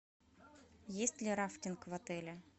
есть ли рафтинг в отеле